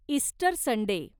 Easter Sunday